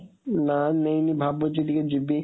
ନାଁ ନେଇନି, ଭାବୁଛି ଟିକେ ଯିବି